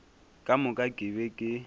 ka moka ke be ke